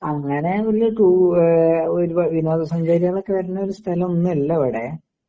അങ്ങനെ വിനോദ സഞ്ചാരികള് ഒക്കെ വരുന്ന സ്ഥലമൊന്നും അല്ല ഇവിടെ